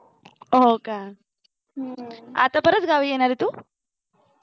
हो का आता परत गावी येणार आहे तू